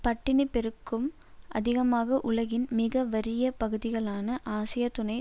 பட்டினிப் பெருக்கும் அதிகமாக உலகின் மிகவறிய பகுதிகளான ஆசிய துணை